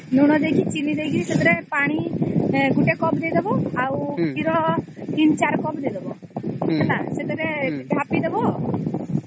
ଲୁଣ ଦେଇକି ଚିନି ଦେଇକି ସେଥିରେ ପାଣି ଗୋଟେ କପ ଦେଇ ଦବ ଆଉ କ୍ଷୀର ୩୪ କପ ଦେଇ ଦବ ହେଲା ସେଥିରେ ଥାପି ଦବ